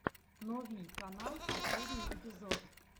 новий канал последний эпизод